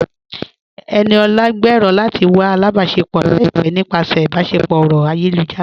Ẹniọla ń gbẹ́rọ̀ lati wà àlàbáṣẹpọ̀ laipẹ̀ nípasẹ̀ ìbáṣẹpọ̀ ọ̀rọ̀ ayélujára.